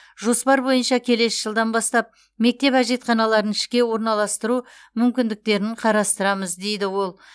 жоспар бойынша келесі жылдан бастап мектеп әжетханаларын ішке орналастыру мүмкіндіктерін қарастырамыз дейді ол